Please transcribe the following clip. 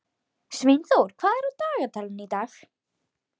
Sveinþór, hvað er á dagatalinu í dag?